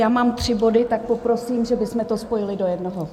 Já mám tři body, tak poprosím, že bychom to spojili do jednoho.